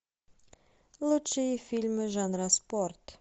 лучшие фильмы жанра спорт